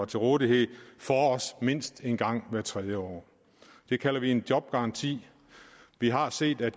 til rådighed for os mindst en gang hvert tredje år det kalder vi en jobgaranti vi har set at